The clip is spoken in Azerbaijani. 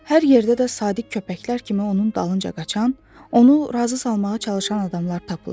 Hər yerdə də sadiq köpəklər kimi onun dalınca qaçan, onu razı salmağa çalışan adamlar tapılırdı.